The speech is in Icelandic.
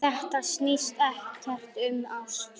Þetta snýst ekkert um ást.